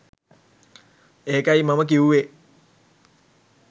ඒකයි මම කිව්වේ